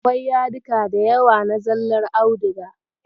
Akwai yadika da yawa na zallar audiga.